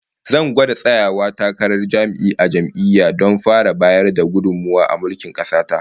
Zan gwada tsayawa takarar jami'i a jam'iyya don fara bayar da gudummawa a mulkin kasa ta